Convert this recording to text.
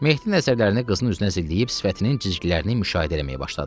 Mehdinin nəzərlərini qızın üzünə zilləyib sifətinin cizgilərini müşahidə eləməyə başladı.